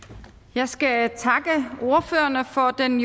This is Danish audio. jeg skal takke ordførerne for den